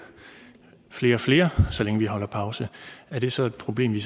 flere og flere så længe vi holder pause er det så et problem vi